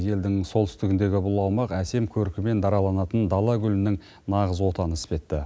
елдің солтүстігіндегі бұл аумақ әсем көркімен дараланатын дала гүлінің нағыз отаны іспетті